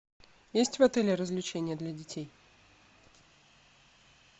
есть в отеле развлечения для детей